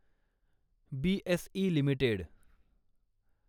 BSE limited